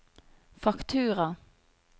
faktura